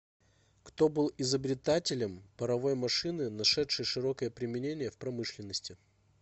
кто был изобретателем паровой машины нашедшей широкое применение в промышленности